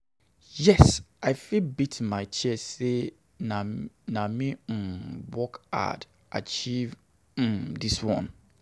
Yes, I fit beat my chest sey na me work hard achieve dis one.